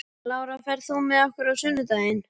Lára, ferð þú með okkur á sunnudaginn?